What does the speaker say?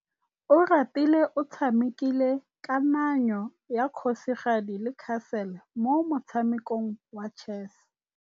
Oratile o tshamekile kananyô ya kgosigadi le khasêlê mo motshamekong wa chess.